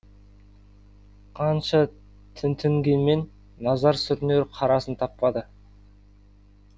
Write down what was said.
қанша тінтінгенмен назар сүрінер қарасын таппады